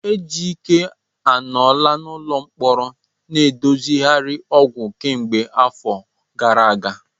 Ejike anọla n'ụlọ mkpọrọ ndozigharị ọgwụ kemgbe afọ gara aga.